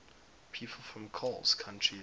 people from coles county illinois